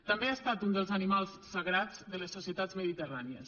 també ha estat un dels animals sagrats de les societats mediterrànies